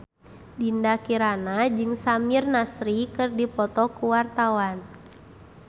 Dinda Kirana jeung Samir Nasri keur dipoto ku wartawan